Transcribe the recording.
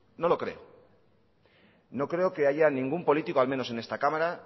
no lo creo no creo que haya ningún político al menos en esta cámara